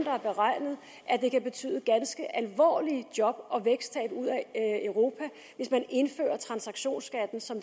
har beregnet at det kan betyde ganske alvorlige job og væksttab i europa hvis man indfører transaktionsskatten som